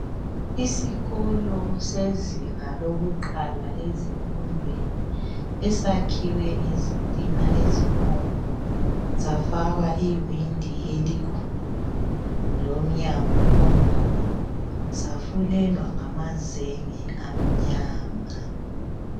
Isikolo sezinga lokuqala ezifundweni esakhiwe ngezitina ezibomvu safakwa iwindi elikhulu lomnyawo omkhulu safulelwa ngamazenge amnyama.